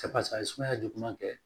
a ye sumaya juguman kɛ